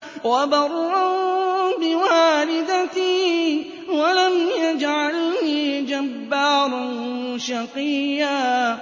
وَبَرًّا بِوَالِدَتِي وَلَمْ يَجْعَلْنِي جَبَّارًا شَقِيًّا